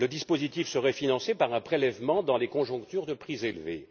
Le dispositif serait financé par un prélèvement dans les conjonctures de prix élevés.